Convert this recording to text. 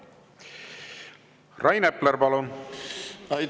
Rain Epler, palun!